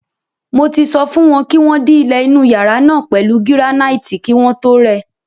Mo ti sọ fún wọn kí wọ́n dí ilẹ̀ inú yàrá náà pẹ̀lú gíránáìtì kí wọ́n tó rẹ.